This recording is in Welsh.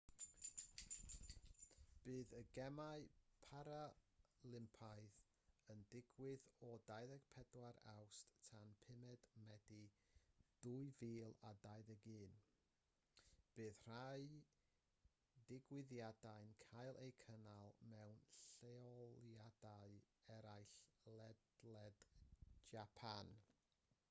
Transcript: bydd y gemau paralympaidd yn digwydd o 24 awst tan 5 medi 2021 bydd rhai digwyddiadau'n cael eu cynnal mewn lleoliadau eraill ledled japan